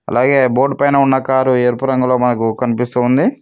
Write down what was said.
అలాగే బోర్డ్ పైన ఉన్న కారు ఎరుపు రంగులో మనకు కనిపిస్తుంది.